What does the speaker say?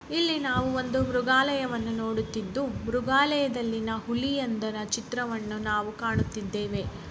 ಇಲ್ಲಿ ನಾವು ಒಂದು ಮೃಗಾಲಯವನ್ನು ನೋಡುತ್ತಿದ್ದು ಮೃಗಾಲಯದಲ್ಲಿನ ಹುಲಿಯಂದರ ಚಿತ್ರವನ್ನು ನಾವು ಕಾಣುತ್ತಿದ್ದೇವೆ.